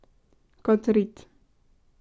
Kot rit.